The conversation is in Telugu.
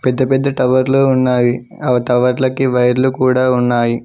పెద్ద పెద్ద టవర్లు ఉన్నాయి ఆ టవర్ల కి వైర్లు కూడ ఉన్నాయి.